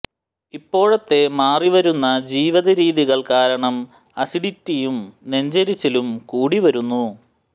ഇപ്പോഴത്തെ മാറി വരുന്ന ജീവിത രീതികൾ കാരണം അസിഡിറ്റിയും നെഞ്ചെരിച്ചിലും കൂടിവരുന്നു